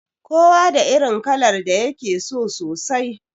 Kowa da irin kalar da yake so sosai